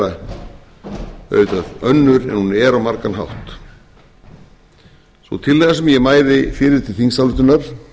vera auðvitað önnur en hún er á margan hátt sú tillaga sem ég mæli fyrir til þingsályktunar